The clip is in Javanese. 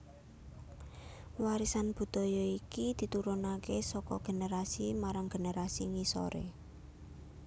Warisan budaya iki diturunakè saka generasi marang generasi ngisorè